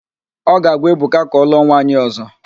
Ọ ga-agwa Ebuka ka ọlụọ nwaanyị ọ̀zọ́.